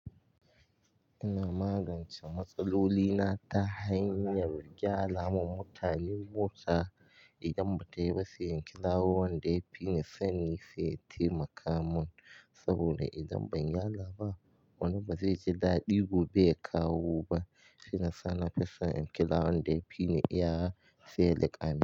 Ina magance matsaloli na ta hanyar gyara ma mutane mota idan bata yi ba, sai in kira wanda ya fi ni sani sai ya taimaka mun saboda idan ban gyara ba wani bazai ji daɗi gobe ya kawo ba. Shiyasa nafison in kira wanda ya fi ni iyawa sai ya liƙa mun.